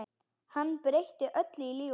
Hann breytir öllu lífi okkar.